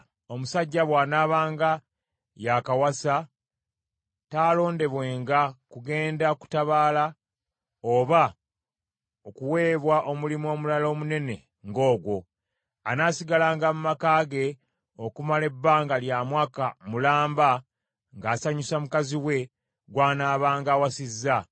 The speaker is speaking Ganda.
Omusajja bw’anaabanga yaakawasa taalondebwenga kugenda kutabaala oba okuweebwa omulimu omulala omunene ng’ogwo. Anaasigalanga mu maka ge okumala ebbanga lya mwaka mulamba ng’asanyusa mukazi we gw’anaabanga awasizza.